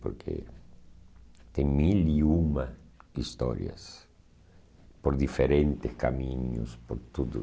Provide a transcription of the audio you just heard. Porque tem mil e uma histórias por diferentes caminhos, por tudo.